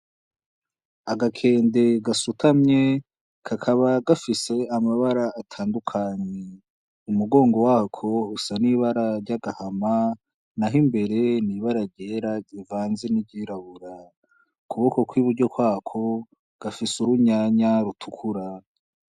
Agakende gasutamye kakaba gafise amabara atandukanye umugongo wako usa n'ibara ry'agahama naho imbere n'ibara ryera rivanze n'iryirabura ku kuboko kw'iburyo kwako gafise urutomati rutukura.